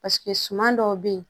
Paseke suman dɔw be yen